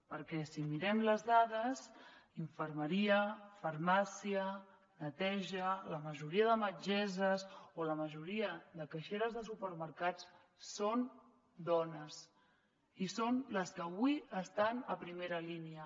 perquè si mirem les dades infermeria farmàcia neteja la majoria de metgesses o la majoria de caixeres de supermercats són dones i són les que avui estan a primera línia